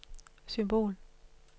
symbol